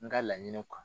N ka laɲiniw kan